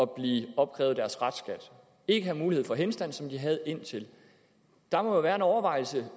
blive opkrævet deres restskat og ikke havde mulighed for henstand som de havde hidtil der må jo være en overvejelse